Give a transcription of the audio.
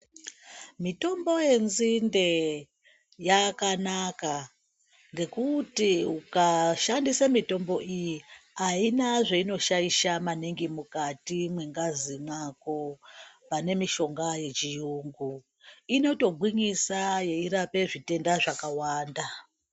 Mitombo yenzinde yakanaka ngekuti ukashandise mitombo iyi haina zvainoshaisha maningi mukati mwengazi mwako pane mishonga yechiyungu, inotogwinyisa yeirape zvitenda zvakawanda.